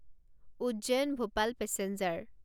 Ujjain Bhopal passenger